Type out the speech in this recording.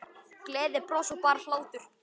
Gleði, bros og bara hlátur.